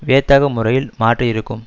வியத்தகு முறையில் மாற்றியிருக்கும்